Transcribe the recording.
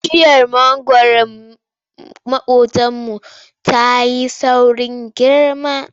Bishiyar mangwaron maƙotanmu ta yi saurin girma.